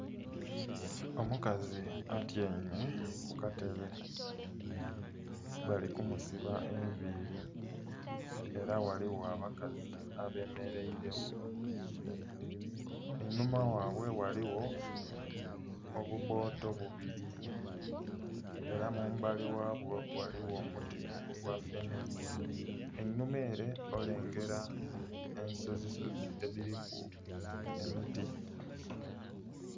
Omukazi atyaime ku katebe bali kumusiba enviili, era ghaligho abakazi abemeleire gho. Einhuma ghaibwe ghaligho obubbooto bubiri, era mu mbali ghabwo ghaligho omuti ogwa fene. Enhuma ere olengera ensozisozi edhiliku emiti.